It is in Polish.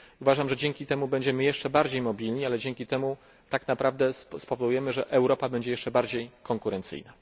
Uważam, że dzięki temu będziemy jeszcze bardziej mobilni, ale dzięki temu tak naprawdę spowodujemy, że Europa będzie jeszcze bardziej konkurencyjna.